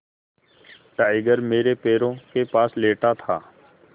tiger मेरे पैरों के पास लेटा था